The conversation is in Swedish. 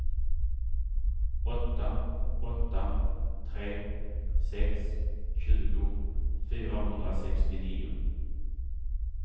åtta åtta tre sex tjugo fyrahundrasextionio